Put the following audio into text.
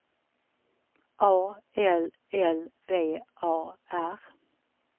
A L L V A R